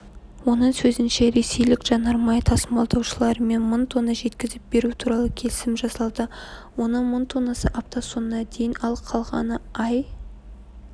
оның сөзінше ресейлік жанармай тасымалдаушылармен мың тонна жеткізіп беру туралы келісім жасалды оның мың тоннасы апта соңына дейін ал қалғаны ай